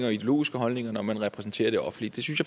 og ideologiske holdninger når man repræsenterer det offentlige det synes